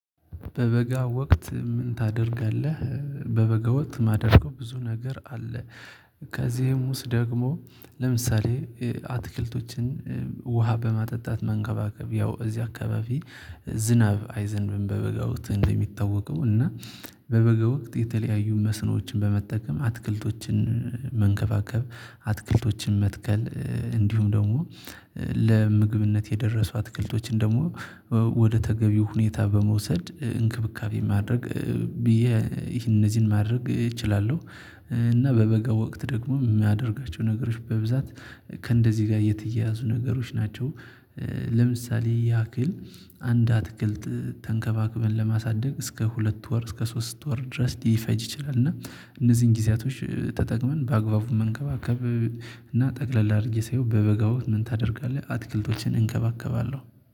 በበጋ ወቅት ምን ታደርጋለህ? በበጋ ወት ማደርገው ብዙ ነገር አለ። ከዚህም ውስጥ ደግሞ ለምሳሌ አትክልቶችን ውሃ በማጠጣት መንከባከብ ያው እዚህ አካባቢ ዝናብ አይዘንብም በበጋው እንደሚታወቀው እና በበጋ ወቅት የተለያዩ መስኖችን በመጠቀም አትክልቶችን መንከባከብ አትክልቶችን መትከል እንዲሁም ደግሞ ለምግብነት የደረሱ አትክልቶችን ደግሞ ወደ ተገቢው ሁኔታ በመውሰድ እንክብካቤ ማድረግ። ብዬ ይህን እነዚህን ማድረግ እችላለሁ። እና በበጋ ወቅት ደግሞ የሚያደርጋቸው ነገሮች በብዛት ከእንደዚህ ጋር የተያያዙ ነገሮች ናቸው። ለምሳሌ ያክል አንድ አትክልት ተንከባክበን ለማሳደግ እስከ ሁለት ወር እስከ ሶስት ወር ድረስ ሊፈጅ ይችላል። እና እነዚህን ጊዜያቶች ተጠቅመን በአግባቡ መንከባከብ። እና ጠቅለል አድርጌ ሳይሆን በበጋው ምን ታደርጋለህ? አትክልቶችን እንከባከባለሁ